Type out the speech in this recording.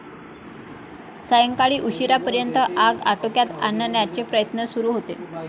सायंकाळी उशिरापर्यंत आग आटोक्यात आणण्याचे प्रयत्न सुरू होते.